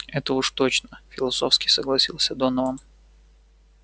это уж точно философски согласился донован